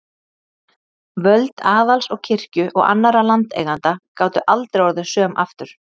Völd aðals og kirkju og annarra landeigenda gátu aldrei orðið söm aftur.